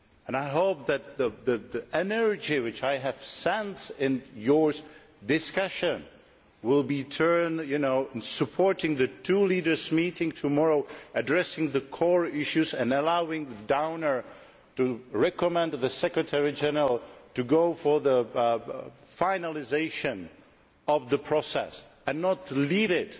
I hope that the energy which I have sensed in your discussion will be turned towards supporting the two leaders who will be meeting tomorrow, addressing the core issues and allowing Downer to recommend to the Secretary General to go for the finalisation of the process and not to leave it